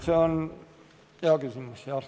See on hea küsimus.